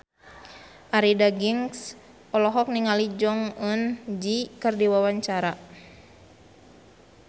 Arie Daginks olohok ningali Jong Eun Ji keur diwawancara